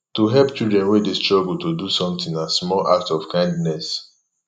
to help children wey de struggle to do something na small act of kindness